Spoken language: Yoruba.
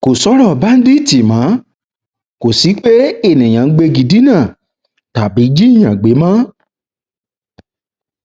kò sọrọ báńdíìtì mọ kò sí pé enìkan ń gbégi dínà tàbí jíìyàn gbé mọ